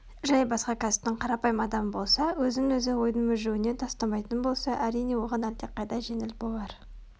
жай басқа кәсіптің қарапайым адамы болса өзін-өзі ойдың мүжуіне тастамайтын болса әрине оған әлдеқайда жеңіл болар